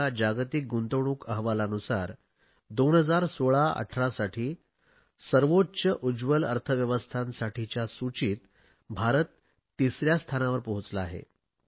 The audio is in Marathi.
च्या जागतिक गुंतवणूक अहवालानुसार 201618 साठी सर्वोच्च उज्ज्वल अर्थव्यवस्थांसाठीच्या सूचित भारत तिसऱ्या स्थानावर पोहोचला आहे